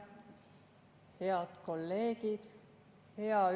Head kolleegid!